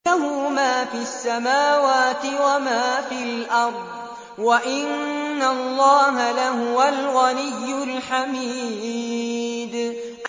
لَّهُ مَا فِي السَّمَاوَاتِ وَمَا فِي الْأَرْضِ ۗ وَإِنَّ اللَّهَ لَهُوَ الْغَنِيُّ الْحَمِيدُ